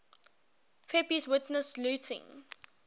pepys witnessed looting